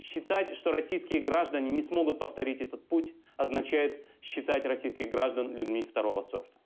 считать что российские граждане не смогут повторить этот путь означает считать российских граждан людьми два